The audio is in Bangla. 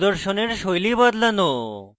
প্রদর্শনের style বদলানো